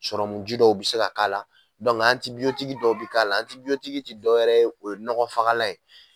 Sɔrɔmuji dɔw bɛ se ka k'a la dɔw bɛ k'a la tɛ dɔwɛrɛ ye o ye nɔgɔ fagalan ye.